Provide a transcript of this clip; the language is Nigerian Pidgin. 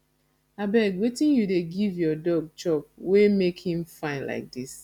abeg wetin you dey give your dog chop wey make im fine like dis